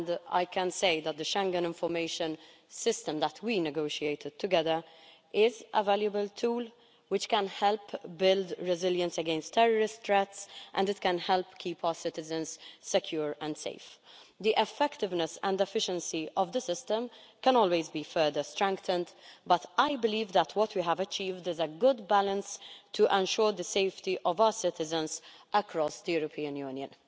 I can say that the Schengen Information System that we negotiated together is a valuable tool which can help build resilience against terrorist threats and can help keep our citizens secure and safe. The effectiveness and efficiency of the system can always be further strengthened, but I believe that what we have achieved is a good balance to ensure the safety of our citizens across the European Union.